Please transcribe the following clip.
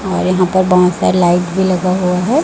और यहां पर बहुत सारे लाइट भी लगा हुआ है।